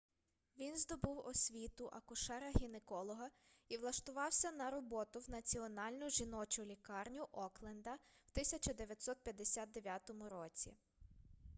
він здобув освіту акушера-гінеколога і влаштувався на роботу в національну жіночу лікарню окленда в 1959 році